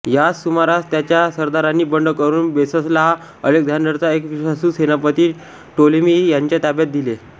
याच सुमारास त्याच्या सरदारांनी बंड करून बेससला अलेक्झांडरचा एक विश्वासू सेनापती टोलेमी याच्या ताब्यात दिले